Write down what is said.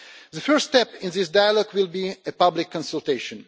The first step in this dialogue will be a public consultation.